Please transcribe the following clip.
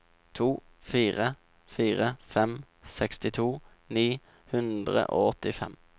to fire fire fem sekstito ni hundre og åttifem